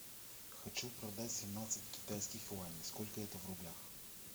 хочу продать семнадцать китайских юаней сколько это в рублях